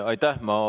Aitäh!